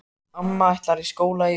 Amma ætlar í skóla í haust.